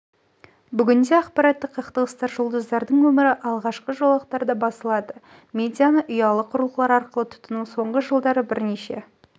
бүгінде ақпараттық қақтығыстар жұлдыздардың өмірі алғашқы жолақтарда басылады медианы ұялы құрылғылар арқылы тұтыну соңғы жылдары бірнеше